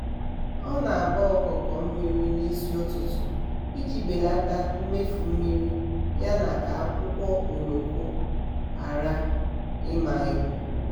ọ na-agba okoko mmiri n'isi ụtụtụ iji belata mmefu mmiri ya na ka akwụkwọ oloko ghara ịma ebu.